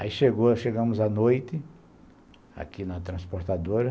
Aí chegou, chegamos à noite, aqui na transportadora.